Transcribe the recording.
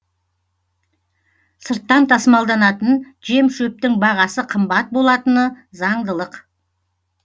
сырттан тасымалданатын жем шөптің бағасы қымбат болатыны заңдылық